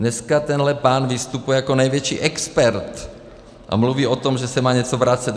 Dneska tenhle pán vystupuje jako největší expert a mluví o tom, že se má něco vracet.